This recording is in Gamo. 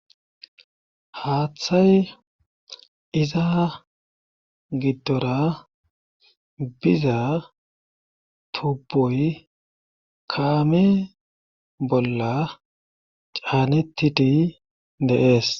Haaththay izza giddora biza tuboy kaame bolla caanettidi de7es.